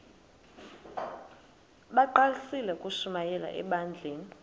bagqalisele ukushumayela ebandleni